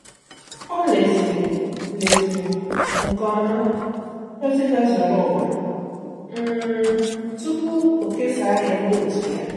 Ọ́ lèziri lèziri nke ọma ózị́ gazuru ụwa um tupu o kesaa ya ndị otu ya.